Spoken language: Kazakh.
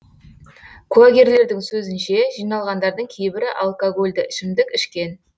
куәгерлердің сөзінше жиналғандардың кейбірі алкогольді ішімдік ішкен